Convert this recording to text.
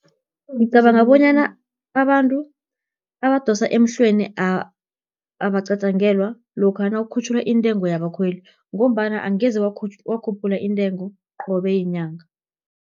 Ngicabanga bonyana, abantu abadosa emhlweni abacatjangelwa, lokha nawukhutjhulwa intengo yabakhweli, ngombana angeze wakhuphula iintengo qobe yinyanga.